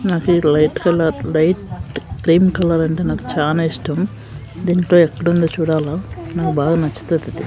నాకీ light colour light cream colour అంటే నాకు చానా ఇష్టం దీంట్లో ఎక్కడుందో చూడాలా నాకు బాగా నచ్చుతాదది.